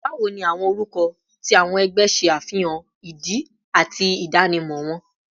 Bawo ni awọn orukọ ti awọn ẹgbẹ ṣe afihan idi ati idanimọ wọn?